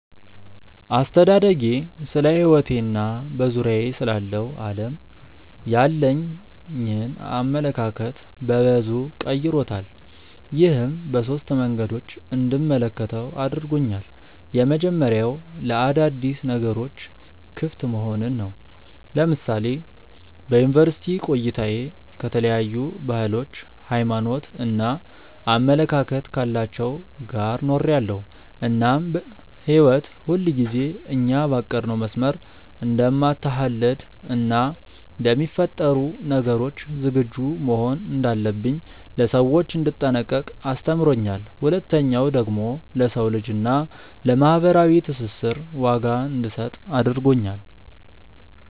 አስተዳደጌ ስለሕይወቴ እና በዙሪያዬ ስላለው ዓለም ያለኝን አመለካከት በበዙ ቀይሮታል። ይህም በሶስት መንገዶች እንድመለከተው አድርጎኛል። የመጀመሪያው ለአዳዲስ ነገሮች ክፍት መሆንን ነው። ለምሳሌ በዩኒቨርስቲ ቆይታዬ ከተለያዩ ባህሎች፣ ሃይማኖት እና አመለካከት ካላቸው ጋር ኖሬያለው እናም ህይወት ሁልጊዜ እኛ ባቀድነው መስመር እንደማትሀለድ እና ለሚፈጠሩ ነገሮች ዝግጁ መሆን እንዳለብኝ፣ ለሰዎች እንድጠነቀቅ አስተምሮኛል። ሁለተኛው ደግሞ ለሰው ልጅ እና ለማህበራዊ ትስስር ዋጋ እንድሰጥ አድርጎኛል።